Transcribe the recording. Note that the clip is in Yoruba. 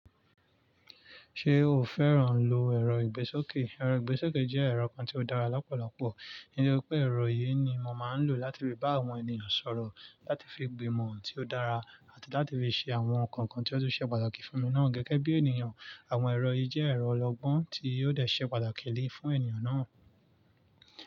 Ṣe o fẹ́ràn lo ẹ̀rọ ìgbésókè? Ẹ̀rọ ìgbésókè jẹ́ ẹ̀rọ kan tí ó dára lọ́pọ̀lọpọ̀, nítorí pé ẹ̀rọ yìí ni mò máa ń lò láti fi bá àwọn ènìyàn sọ̀rọ̀, láti fi gbìmọ̀ ohùn tí ó dára, àti láti fi ṣe àwọn nǹkan kan tí ó tún ṣe pàtàkì fún mi náà gẹ́gẹ́ bí ènìyàn. Àwọn ẹ̀rọ yìí jẹ́ ẹ̀rọ ọlọ́gbọ́n tí yóò dẹ̀ ṣe pàtàkì lé fún ènìyàn náà.